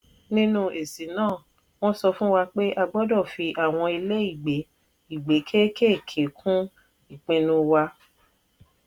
nínú èsì náà: wọ́n sọ fún wa pé a gbọ́dọ̀ fi àwọn ilé ìgbé ìgbé kéékèèkéé kún ipinu wa